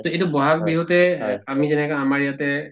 তে এইটো বহাগ বিহুতে ‍আমি যেনেকৈ আমাৰ ইয়াতে